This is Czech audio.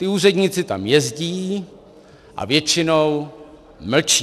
Ti úředníci tam jezdí a většinou mlčí.